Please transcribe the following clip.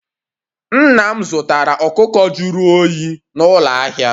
Nna m zụtara ọkụkọ jụrụ oyi n'ụlọ ahịa